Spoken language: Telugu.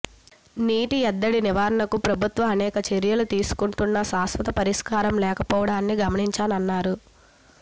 నీటి ఎద్దడి నివారణకు ప్రభుత్వం అనేక చర్యలు తీసుకుంటున్నా శాశ్వత పరిష్కారం లేకపోవడాన్ని గమనించానన్నారు